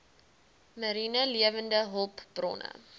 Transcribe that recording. mariene lewende hulpbronne